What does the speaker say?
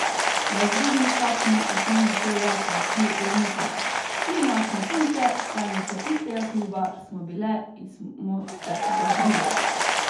Na razredni stopnji osnovne šole pa uči Lemutova: "Tri močne punce, članice istega kluba smo bile in smo se bodrile.